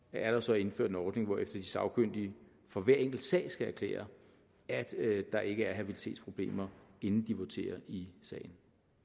er der så indført en ordning hvorefter de sagkyndige for hver enkelt sag skal erklære at der ikke er habilitetsproblemer inden de voterer i sagen